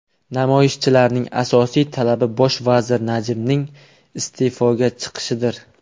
Namoyishchilarning asosiy talabi bosh vazir Najibning iste’foga chiqishidir.